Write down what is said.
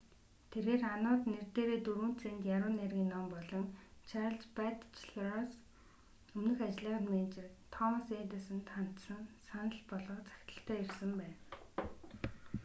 тэрээр ану-д нэр дээрээ 4 цент яруу найргийн ном болон чарльз батчелороос өмнөх ажлынх нь менежер томас эдисонд хандсан санал болгох захидалтай ирсэн байна